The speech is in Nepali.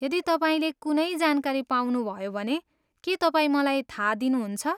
यदि तपाईँले कुनै जानकारी पाउनुभयो भने के तपाईँ मलाई थाहा दिनुहुन्छ?